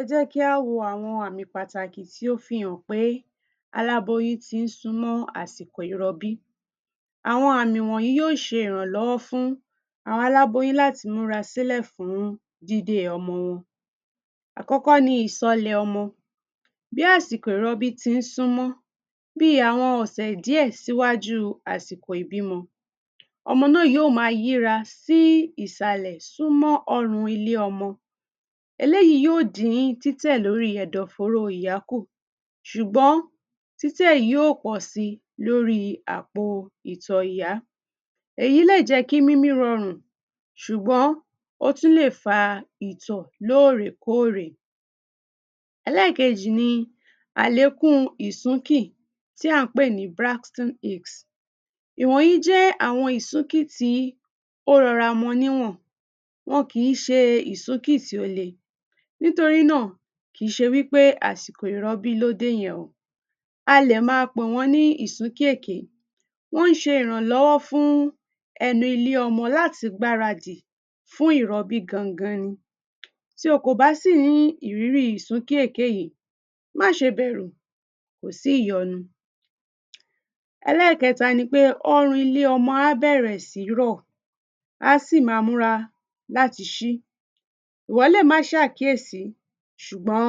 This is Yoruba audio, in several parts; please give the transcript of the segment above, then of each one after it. Ẹ jẹ́ kí á wo àwọn àmì pàtàkì tí ó fi hàn pé aláboyún tí ń súnmó àsìkò ìrọbí. Àwọn àmì wọ̀nyìí yó ṣe ìrànlọ́wọ́ fún àwọn aláboyún láti múra sílẹ̀ fún dídé ọmọ wọn. Àkọ́kọ́ ni ìsọlẹ̀ ọmọ, bí àsìkò ìrọbí tí ń súnmọ́, bí àwọn ọ̀sẹ̀ díẹ̀ síwájú àsìkò ìbímọ, ọmọ náà yó má yíra sí ìsàlẹ̀ súnmọ́ ọrùn ilé ọmọ. Eléyìí yóò dín títẹ̀ lórí ẹ̀dọ̀fóró ìyá kù, ṣùgbọ́n títẹ̀ yóò pọ̀ sí lórí àpò ìtọ̀ ìyá, èyí lè jẹ́ kí mímí rọrùn sùgbọ́n ó tún lè fa ìtọ̀ lórè kórè. Ẹlẹ́ẹ̀kejì ni àlékún ìsúnkì tí à ń pè ní. Ìwọ̀n yìí jẹ́ àwọn ìsúnkì tí ó rọra mọ níwọ̀n. Wọn kìí ṣe ìsúnkì tí ó le, nítorínáà kìí ṣe wípé àsìkò ìrọbí ló dé yẹn o, a lè má pè wọ́n ní ìsúnkì èké, wọ́n ń ṣe ìrànlọ́wọ́ fún ẹnu ilé ọmọ láti gbáradì fún ìrọbí gangan ni. Tí o kò bá sì ní ìrírí ìsúnkì èké yìí, má ṣe bẹ̀rù kò sí ìyọnu. Ẹlẹ́ẹ̀kẹta ni pé ọrùn ilé ọmọ á bẹ̀rẹ̀ sí rọ̀ á sì má múra látí ṣí. Ìwọ lè má ṣàkíyẹ̀sí, ṣùgbọ́n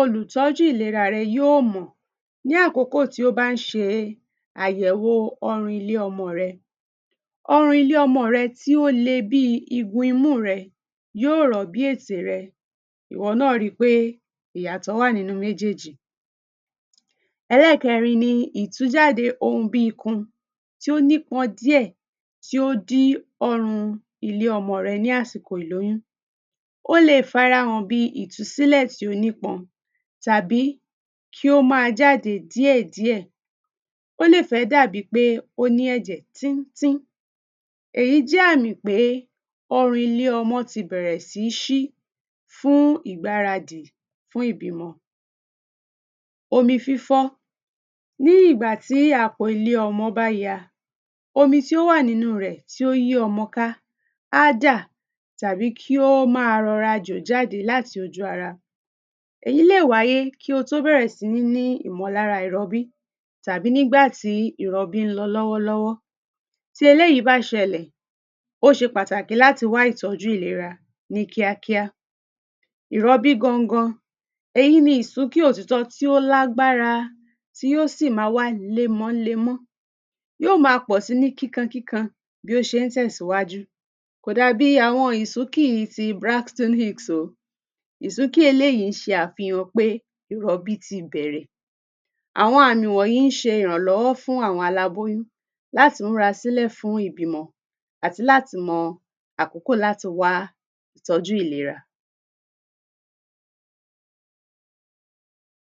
olùtọ́jú ìlera yóò mọ̀ ní àkókò tó bá ń ṣe àyẹ̀wò ọrùn ilé ọmọ rẹ. Ọrùn ilé ọmọ rẹ tí ó le bí igun imú rẹ yóò rọ̀ bí ètè rẹ. Ìwọ náà rí pé ìyàtọ̀ wà nínú méjèjì. Ẹlẹ́ẹ̀kerin ni ìtújáde ohun bí ikun tí ó nípọn díẹ̀ tó ó dí ọrùn ilé ọmọ rẹ ní àsìkò ìlóyún, ó le farahàn bí ìtúsílẹ̀ tí ó nípọn tàbí kí ó má jáde díẹ̀ díẹ̀, ó lè fé dàbí pé ó ní ẹ̀jẹ̀ tín tín, èyí jé àmì pé ọrùn ilé ọmọ ti bẹ̀rẹ̀ sí ṣí fún ìgbáradì fún ìbímọ. Omi fífọ́, ní ìgbà tí àko ilé ọmọ bá ya, omi tí ó wà nínú rẹ̀ tí ó yí ọmọ ká á jà tàbí kí ó má rọra má jò jáde láti ojú ara. Èyí lè wáyé kí o tó bẹ̀rẹ̀ sí ní ìmọ̀lára ìrọbí tàbí nígbàtí ìrọbí ń lọ lọ́wọ́ lọ́wọ́. Tí eléyìí bá ṣẹlẹ̀ ó ṣe pàtàkì láti wá ìtọ́jú ìlera ní kíá kíá. Ìrọbí gangan, èyí ni ìsúkì òtítọ́ tí ó lágbára tí ó sì má wá lémo ń lemó yó má pọ̀ sí ní kíkan kíkan bí ó ṣé ń tẹ̀síwájú kò dà bí àwọn ìsúnkì ti o, ìsúnkì eléyìí ń ṣe àfihàn pé ìrọbí ti bẹ̀rẹ̀, àwọn àmì wọ̀nyìí ń ṣe ìrànlọ́wọ́ fún àwọn aláboyún láti múra sílẹ̀ fún ìbímọ àti láti mo àkókò láti wá ìtọ́jú ìlera.